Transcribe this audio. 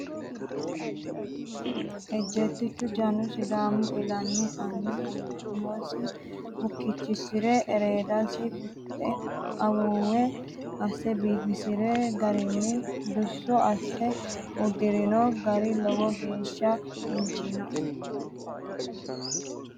Ejeettichu jannu sidaamu ilama anni umosi bukkichishire ereedasi fixe awuwe asse biifisirino garinna duso asse uddirino gari lowo geeshsha injinoe.